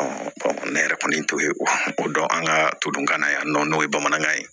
ne yɛrɛ kɔni t'o ye o dɔn an ka to dunna yan nɔ n'o ye bamanankan ye